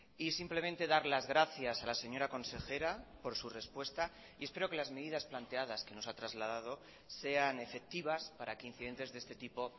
y simplemente dar las gracias a la señora consejera por su respuesta y espero que las medidas planteadas que nos ha trasladado sean efectivas para que incidentes de este tipo